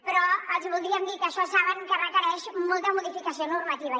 però els hi voldríem dir que això saben que requereix molta modificació normativa